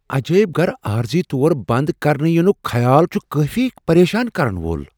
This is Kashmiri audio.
عجٲیب گھر عارضی طور بند کرنہٕ یِنٗك خیال چھٗ کٲفی پریشان کرن وول ۔